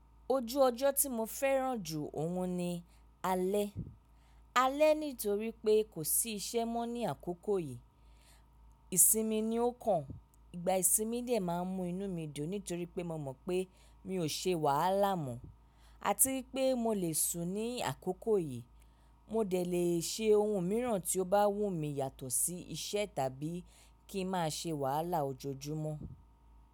Ojú ọjọ́ tí mo fẹ́ràn jù òhun ni Alẹ́. Alẹ́ nítorí pé kò sí iṣẹ́ mọ́ ní àkókò yìí, ìsinmi ni ó kàn. Ìgbà ìsinmi dè máa ń mú inú mi dùn nítorí pé mo mọ̀ pé mi ò ṣe wàhálà mọ́, àti pé mo lè sùn ní àkókò yìí. Mo dẹ̀ lè ṣe ohun mìíràn tí ó bá wù mí yàtọ̀ sí iṣẹ́ tàbí kí ń má ṣe wàhálà ojoojúmọ́.